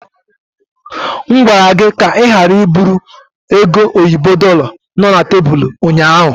M gwara gị ka ị ghara iburu oge oyibo dorlar no na tebụl ụnyaahụ!